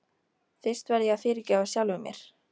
Fyrst verð ég að fyrirgefa sjálfum mér.